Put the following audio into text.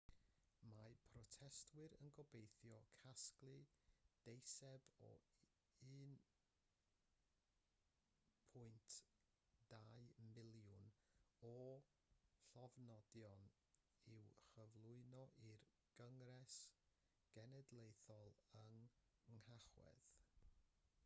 mae protestwyr yn gobeithio casglu deiseb o 1.2 miliwn o lofnodion i'w chyflwyno i'r gyngres genedlaethol yn nhachwedd